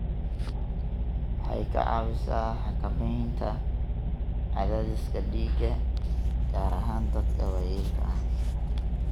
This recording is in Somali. Waxay ka caawisaa xakamaynta cadaadiska dhiigga, gaar ahaan dadka waayeelka ah.